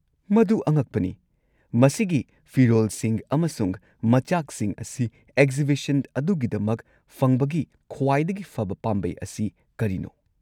ꯃꯗꯨ ꯑꯉꯛꯄꯅꯤ꯫ ꯃꯁꯤꯒꯤ ꯐꯤꯔꯣꯜꯁꯤꯡ ꯑꯃꯁꯨꯡ ꯃꯆꯥꯛꯁꯤꯡ ꯑꯁꯤ ꯑꯦꯛꯖꯤꯕꯤꯁꯟ ꯑꯗꯨꯒꯤꯗꯃꯛ ꯐꯪꯕꯒꯤ ꯈ꯭ꯋꯥꯏꯗꯒꯤ ꯐꯕ ꯄꯥꯝꯕꯩ ꯑꯁꯤ ꯀꯔꯤꯅꯣ?